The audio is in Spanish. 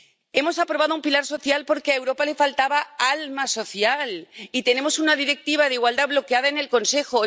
Hemos aprobado un pilar social porque a Europa le faltaba alma social, y tenemos una Directiva de igualdad bloqueada en el Consejo